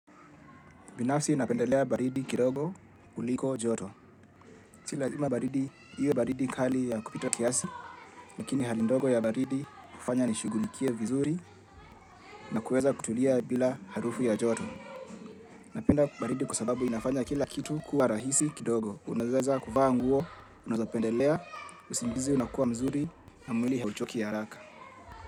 Binafsi napendelea baridi kidogo kuliko joto. Si lazima baridi, iwe baridi kali ya kupita kiasi, lakini hali ndogo ya baridi hufanya nishugulikie vizuri na kuweza kutulia bila harufu ya joto. Napenda baridi kwa sababu inafanya kila kitu kuwa rahisi kidogo. Unaweza kuvaa nguo, unazapendelea, usingizi unakuwa mzuri na mwili hauchoki ya araka.